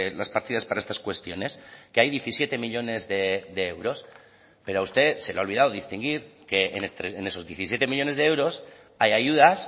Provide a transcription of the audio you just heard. las partidas para estas cuestiones que hay diecisiete millónes de euros pero a usted se le ha olvidado distinguir que en esos diecisiete millónes de euros hay ayudas